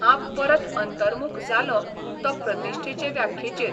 हांब परत अंतर्मुख जालों तों प्रतिश्ठेचे व्याख्येचेर.